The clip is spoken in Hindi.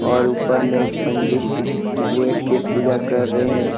और उपर में एक पंडित वैठ के पूजा कर रहे हैं।